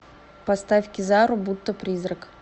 поставь кизару будто призрак